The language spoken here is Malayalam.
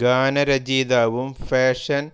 ഗാന രചയിതാവും ഫാഷൻ